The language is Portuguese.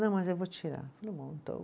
Não, mas eu vou tirar. Falei bom, então